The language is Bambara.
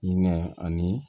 I ɲɛ ani